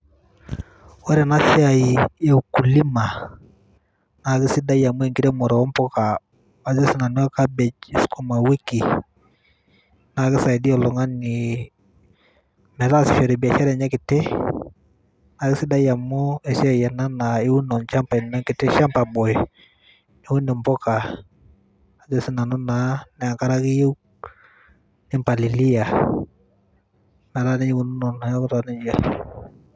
Ore ena siai e ukulima naa kisidai amu enkiremore oo mpuka ajo sinanu cabbage o sukuma wiki naa kisaidia oltungani metaasishore biashara enye kiti naa kisidai amu esiaai ena naa iun olchamba, orkiti shamba boy ,niun mpuka ajo sinanu naa enkare ake eyieu . Nimpalilia metaa nejia eikununo neaku taa nejia .